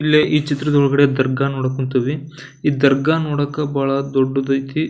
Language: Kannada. ಇಲ್ಲೆ ಈ ಚಿತ್ರದೊಳ್ಗಡೆ ದರ್ಗಾ ನೋಡೋಕೆ ಕುಂತೀವಿ ಈ ದರ್ಗಾ ನೊಡೋಕೆ ಬಹಳ ದೊಡ್ಡದೈತಿ.